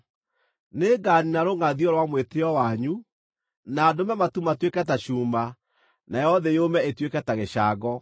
Nĩnganiina rũngʼathio rwa mwĩtĩĩo wanyu, na ndũme matu matuĩke ta cuuma, nayo thĩ yũme ĩtuĩke ta gĩcango.